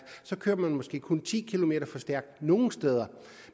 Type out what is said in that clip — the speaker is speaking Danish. kører man måske kun ti kilometer for stærkt nogle steder